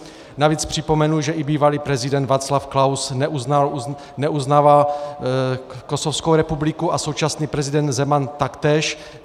Navíc připomenu, že i bývalý prezident Václav Klaus neuznává Kosovskou republiku a současný prezident Zeman taktéž.